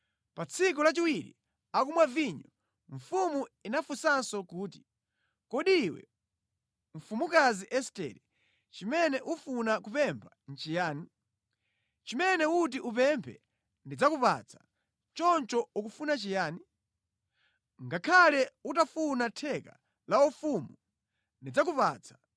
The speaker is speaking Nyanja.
Pa tsiku lachiwiri akumwa vinyo, mfumu inafunsanso kuti, “Kodi iwe mfumukazi Estere, chimene ufuna kupempha nʼchiyani? Chimene uti upemphe ndidzakupatsa. Choncho ukufuna chiyani? Ngakhale utafuna theka la ufumu ndidzakupatsa.”